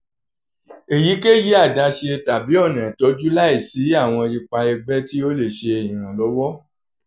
eyikeyi adaṣe tabi ọna itọju laisi awọn ipa ẹgbẹ ti o le ṣe iranlọwọ